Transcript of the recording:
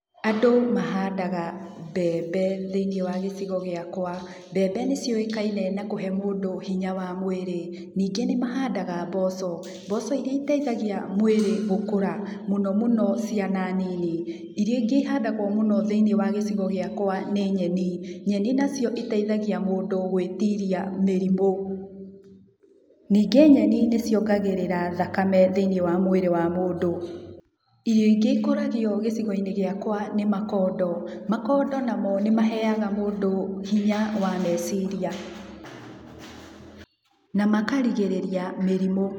Andũ mahandaga mbembe thĩiniĩ wa gĩcigo gĩakwa. Mbembe nĩ ciũĩkaine nĩ kũhe mũndũ hinya wa mwĩrĩ. Ningĩ nĩ mahandaga mboco, mboco iria iteithagia mwĩrĩ gũkũra, mũno mũno ciana nini. Irio ingĩ ihandagwo mũno thĩiniĩ wa gĩcigo gĩakwa nĩ nyeni. Nyeni nacio iteithagia mũndũ gwĩtiria mĩrimũ. Ningĩ nyeni nĩ ciongagĩrĩra thakame thĩiniĩ wa mwĩrĩ wa mũndũ. Irio ingĩ ikũragio gĩcigo-inĩ gĩakwa nĩ makondo. Makondo namo nĩ maheaga mũndũ hinya wa meciria na makarigĩrĩria mĩrimũ.